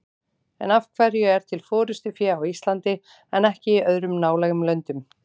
En af hverju er til forystufé á Íslandi en ekki í öðrum nálægum löndum?